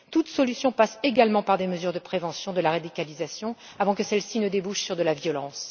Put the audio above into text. Toute solution passe également par des mesures de prévention de la radicalisation avant que celle ci ne débouche sur de la violence.